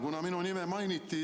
Kuna minu nime mainiti ...